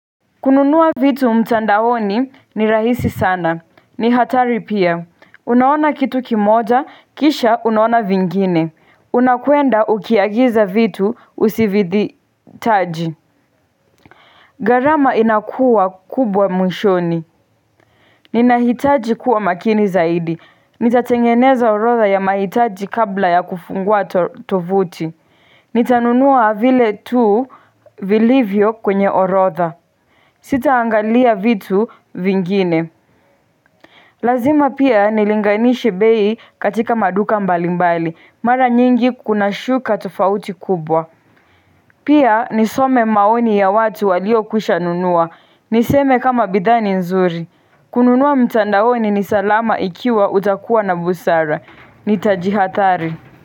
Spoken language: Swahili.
Kununua vitu mtandaoni ni rahisi sana ni hatari pia Unaona kitu kimoja kisha unaona vingine Unakwenda ukiagiza vitu usivithi taji gharama inakuwa kubwa mwishoni Ninahitaji kuwa makini zaidi Nitatengeneza orotha ya mahitaji kabla ya kufungua tovuti Nitanunua vile tu vilivyo kwenye orotha Sitaangalia vitu vingine Lazima pia nilinganishe bei katika maduka mbalimbali, mara nyingi kuna shuka tofauti kubwa Pia nisome maoni ya watu walio kwisha nunua, niseme kama bidhaa ni nzuri kununua mtandaoni ni salama ikiwa utakuwa na busara, nitajihathari.